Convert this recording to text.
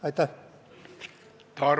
Aitäh!